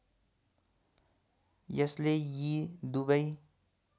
यसले यी दुवै